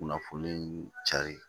Kunnafoni cari